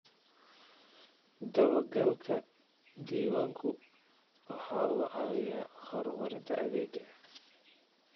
Dabagalka diiwaanku waxa uu caawiyaa horumarinta adeegga.